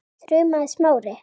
þrumaði Smári.